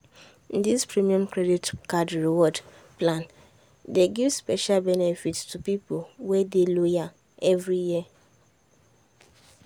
di premium credit card reward plan dey give special benefits to people wey dey loyal every year. um